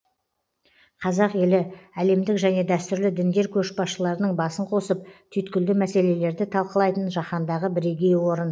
қазақ елі әлемдік және дәстүрлі діндер көшбасшыларының басын қосып түйткілді мәселелерді талқылайтын жаһандағы бірегей орын